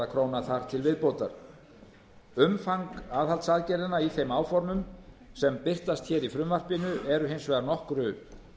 króna þar til viðbótar umfang aðhaldsaðgerðanna í þeim áformum sem birtast hér í frumvarpinu eru hins vegar nokkuð